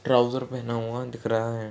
Trouser पहना हुआ दिख रहा है।